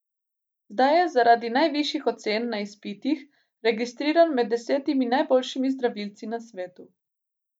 Zdaj je zaradi najvišjih ocen na izpitih registriran med desetimi najboljšimi zdravilci na svetu.